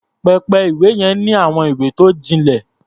Pẹpẹ-ìwé yẹn ní àwọn ìwé tó jinlẹ̀.